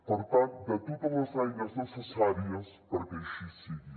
per tant de totes les eines necessàries perquè així sigui